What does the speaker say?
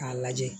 K'a lajɛ